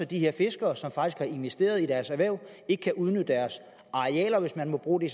de her fiskere som faktisk har investeret i deres erhverv ikke kan udnytte deres arealer hvis man må bruge det